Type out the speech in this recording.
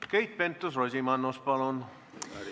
Keit Pentus-Rosimannus, palun!